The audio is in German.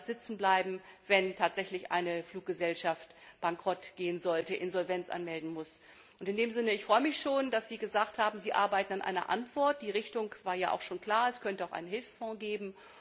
sitzenbleiben, wenn tatsächlich eine Fluggesellschaft bankrottgehen sollte oder Insolvenz anmelden muss. In diesem Sinne freue ich mich, dass Sie gesagt haben, Sie arbeiten an einer Antwort. Die Richtung war ja klar, es könnte auch einen Hilfsfonds geben.